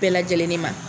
Bɛɛ lajɛlen de ma